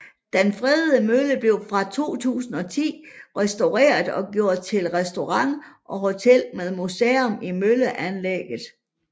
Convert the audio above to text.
Den fredede mølle blev fra 2010 restaureret og gjort til restaurant og hotel med museum i mølleanlæget